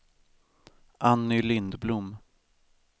Anny Lindblom